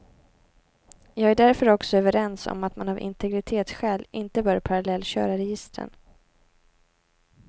Jag är därför också överens om att man av integritetsskäl inte bör parallellköra registren.